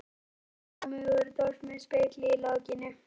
Ég púðra mig úr dós með spegli í lokinu.